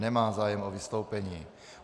Nemá zájem o vystoupení.